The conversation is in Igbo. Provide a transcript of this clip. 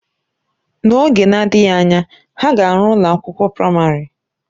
N'oge na-adịghị anya, ha ga-arụ ụlọ akwụkwọ praịmarị